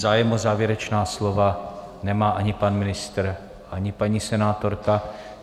Zájem o závěrečná slova nemá ani pan ministr, ani paní senátorka.